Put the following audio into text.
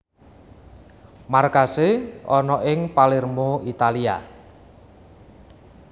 Markasé ana ing Palermo Italia